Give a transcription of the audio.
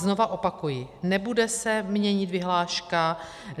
Znova opakuji, nebude se měnit vyhláška.